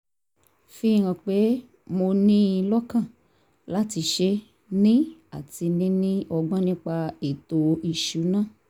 fi hàn pé mo ní in lọ́kàn láti ṣé ní àti níní ọgbón nípa ètò ìṣúnná